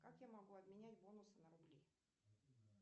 как я могу обменять бонусы на рубли